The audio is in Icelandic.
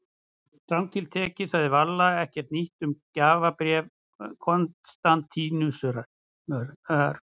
Strangt til tekið sagði Valla ekkert nýtt um gjafabréf Konstantínusar.